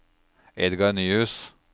Edgar Nyhus